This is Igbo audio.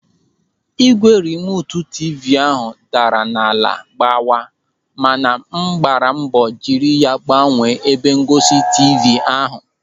Ígwè rimotu tiivii ahụ daara n'ala gbawa mana m gbara mbọ jiri ya gbanwee ebe ngosi tiivii ahụ.